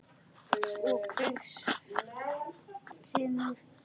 Og Kristur vinnur í henni.